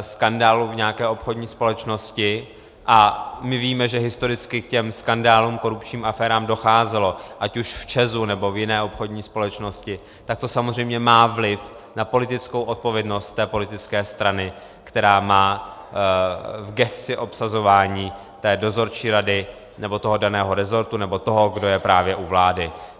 skandálu v nějaké obchodní společnosti - a my víme, že historicky k těm skandálům, korupčním aférám docházelo, ať už v ČEZ nebo v jiné obchodní společnosti, tak to samozřejmě má vliv na politickou odpovědnost té politické strany, která má v gesci obsazování té dozorčí rady nebo toho daného resortu nebo toho, kdo je právě u vlády.